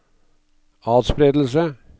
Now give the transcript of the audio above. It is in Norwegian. atspredelse